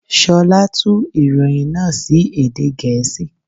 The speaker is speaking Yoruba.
Ṣolá tú ìròyìn náà sí èdè Gèésì.